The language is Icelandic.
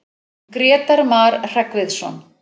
Grétar Mar Hreggviðsson.